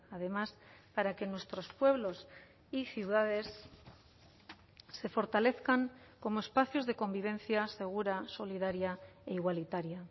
además para que nuestros pueblos y ciudades se fortalezcan como espacios de convivencia segura solidaria e igualitaria